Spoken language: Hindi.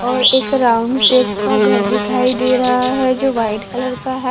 और एक राउंड शेप का घर दिखाई दे रहा है जो वाइट कलर का है।